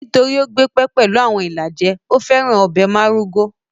Nítorí ó gbé pẹ́ pẹ̀lú àwọn ìlàjẹ, ó féràn ọbẹ̀ márúgó